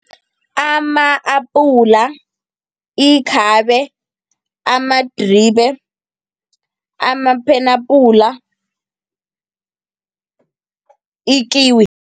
Ama-apula, ikhabe, amadribe, amaphenapula, ikiwi.